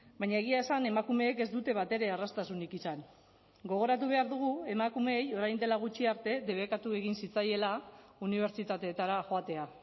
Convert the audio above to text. baina egia esan emakumeek ez dute batere erraztasunik izan gogoratu behar dugu emakumeei orain dela gutxi arte debekatu egin zitzaiela unibertsitateetara joatea